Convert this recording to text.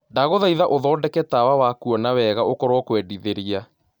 ndagũthaĩtha ũthondeke tawa wa kũona wega ũkorwo kũendĩthĩrĩa